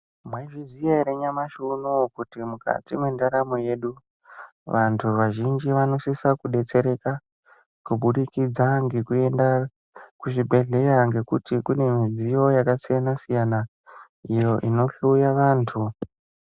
Mwaizviziya ere nyamashi unouyu kuti mukati mwendaramo yedu ,vantu vazhinji vanosisa kubetsereka, kubudikidza ngekuenda kuzvibhedhleya ngekuti kune midziyo yakasiyana-siyana, iyo inohloya vantu.